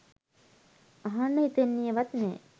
අහන්න හිතන්නේ වත් නෑ.